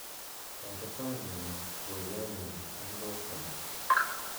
toreton imis twolyonyun en koskolen